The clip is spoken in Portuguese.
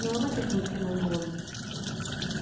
Não é uma questão de ser mandona.